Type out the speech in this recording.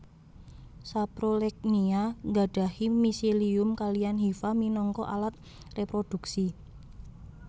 Saprolegnia nggadhahi miselium kaliyan hifa minangka alat réprodhuksi